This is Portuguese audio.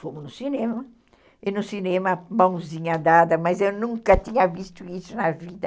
Fomos no cinema, e no cinema mãozinha dada, mas eu nunca tinha visto isso na vida.